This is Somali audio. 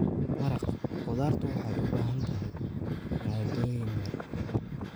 Maraq khudaartu waxay u baahan tahay maaddooyin yar.